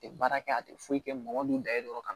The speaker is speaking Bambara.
Tɛ baara kɛ a tɛ foyi kɛ mɔgɔ dun da ye dɔrɔn